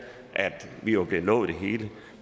at de var blev lovet det hele